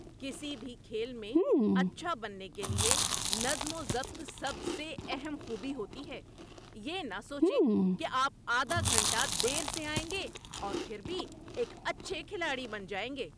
کسی بھی کھیل میں اچھا بننے کے لیے نظم و ضبط سب سے اہم خوبی ہوتی ہے۔ یہ نہ سوچیں کہ آپ آدھا گھنٹہ دیر سے آئیں گے اور پھر بھی ایک اچھے کھلاڑی بن جائیں گے۔